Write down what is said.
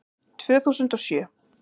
Tvö þúsund og sjö